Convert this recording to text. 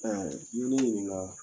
Ɔ n'i ye ne ɲininka